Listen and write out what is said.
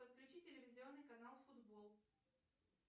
подключи телевизионный канал футбол